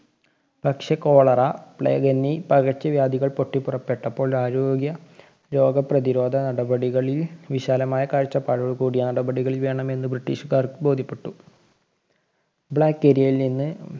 പക്ഷെ Cholera, plague എന്നീ പകര്‍ച്ചവ്യാധികള്‍ പൊട്ടിപ്പുറപ്പെട്ടപ്പോള്‍ ആരോഗ്യ രോഗപ്രതിരോധ നടപടികളില്‍ വിശാലമായ കാഴ്ചപ്പാടോടുകൂടിയ നടപടികള്‍ വേണമെന്ന് ബ്രിട്ടീഷുകാര്‍ക്ക് ബോധ്യപ്പെട്ടു. black area യില്‍ നിന്ന്